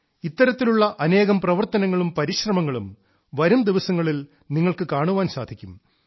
ഇത്തരത്തിലുള്ള അനേകം പ്രവർത്തനങ്ങളും പരിശ്രമങ്ങളും വരുംദിവസങ്ങളിൽ നിങ്ങൾക്ക് കാണാൻ സാധിക്കും